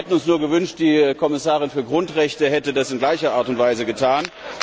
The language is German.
Wir hätten uns nur gewünscht, die Kommissarin für Grundrechte hätte das in gleicher Art und Weise getan.